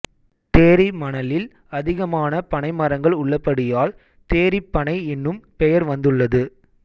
தேரி மணலில் அதிகமான பனைமரங்கள் உள்ளபடியால் தேரிப்பனை எனும் பெயர் வந்துள்ளது